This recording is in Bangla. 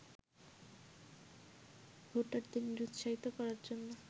ভোটারদের নিরুৎসাহিত করার জন্য